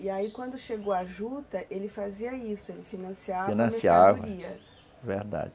E aí quando chegou a juta, ele fazia isso, ele financiava, financiava, verdade.